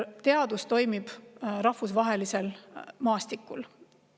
Teadus toimib rahvusvahelisel maastikul.